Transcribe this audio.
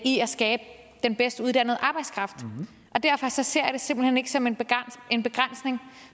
i at skabe den bedst uddannede arbejdskraft og derfor ser jeg det simpelt hen ikke som en en begrænsning